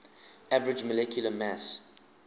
average molecular mass